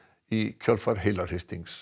í kjölfar